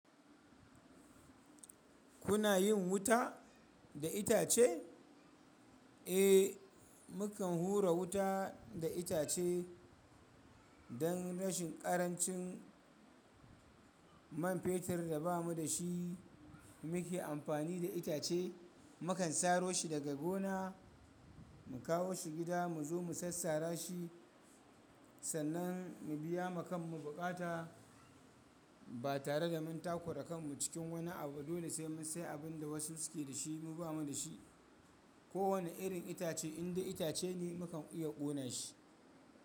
Kuna yin wuta da itace? Eh, mukan hura wuta da itace. Dan rashin karancin man fetur da bamu dashi muke amfani da itace. Mukan saro shi daga gona, mu kawo shi gida, mu zo mu sassara shi, sannan mu biya wa kanmu buƙata, ba tare da mun takura kanmu cikin wani abu ba. Dole sai mu sayi abin da wasu suke da shi mu ba mu da shi. Ko wane irin itace, in dai itace ne, mukan iya kona shi.